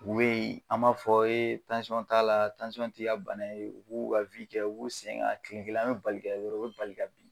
U bee, an b'a fɔ t'a la, t'i ka bana ye, u b'u ka kɛ, u b'u sen ka. Tile kelen an bɛ bali k'a ye doro u be bali ka bin.